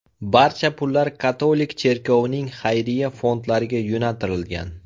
Barcha pullar katolik cherkovining xayriya fondlariga yo‘naltirilgan.